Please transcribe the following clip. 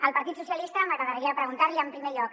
al partit socialista m’agradaria preguntar li en primer lloc